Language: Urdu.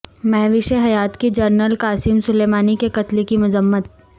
مہوش حیات کی جنرل قاسم سلیمانی کے قتل کی مذمت